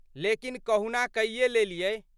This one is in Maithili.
लेकिन कहुना कइये लेलियै।